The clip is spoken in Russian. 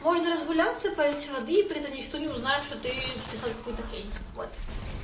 можно разгуляться полить воды и при этом никто не узнает что ты прислал какую-то хрень вот